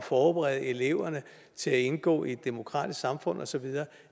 forberede eleverne til at indgå i et demokratisk samfund og så videre